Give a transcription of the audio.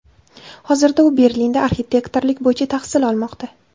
Hozirda u Berlinda arxitektorlik bo‘yicha tahsil olmoqda.